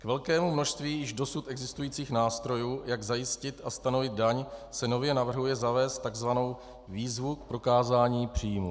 K velkému množství již dosud existujících nástrojů, jak zajistit a stanovit daň, se nově navrhuje zavést tzv. výzvu k prokázání příjmů.